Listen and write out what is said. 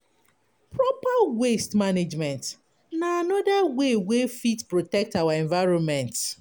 Proper waste management na anoda wey wey fit protect our environment